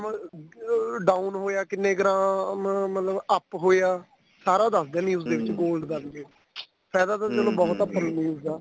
ਅਹ down ਹੋਇਆ ਕਿੰਨੇ gram ਮਤਲਬ up ਹੁਇਆ ਸਾਰਾ ਦੱਸਦੇ news ਦੇ ਵਿੱਚ gold ਦਾ ਫਾਇਦਾ ਤਾਂ ਚਲੋ ਬਹੁਤ ਏ ਆਪਾਂ ਨੂੰ news ਦਾ